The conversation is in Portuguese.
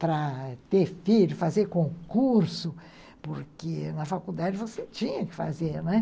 Para ter filho, fazer concurso, porque na faculdade você tinha que fazer, não é?